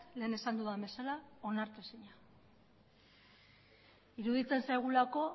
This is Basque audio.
lehen esan dudan bezala onartezina iruditzen zaigulako